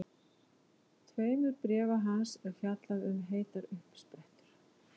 tveimur bréfa hans er fjallað um heitar uppsprettur.